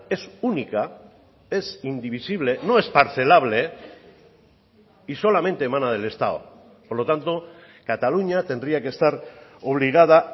es única es indivisible no es parcelable y solamente emana del estado por lo tanto cataluña tendría que estar obligada